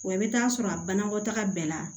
Wa i bɛ t'a sɔrɔ a banakɔtaga bɛɛ la